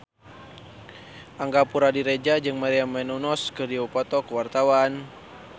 Angga Puradiredja jeung Maria Menounos keur dipoto ku wartawan